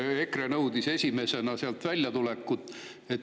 EKRE nõudis esimesena sealt väljatulekut.